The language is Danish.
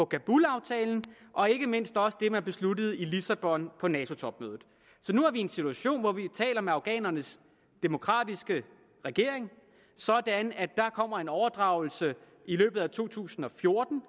kabulaftalen og ikke mindst også det man besluttede i lissabon på nato topmødet så nu er vi i en situation hvor vi taler med afghanernes demokratiske regering sådan at der kommer en overdragelse i løbet af to tusind og fjorten